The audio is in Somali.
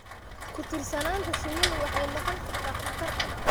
Ku-tiirsanaanta shinnidu waxay noqon kartaa khatar.